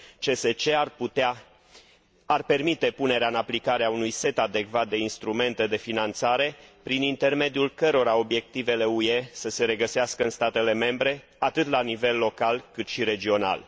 CSC ar permite punerea în aplicare a unui set adecvat de instrumente de finanțare prin intermediul cărora obiectivele UE să se regăsească în statele membre atât la nivel local, cât și regional.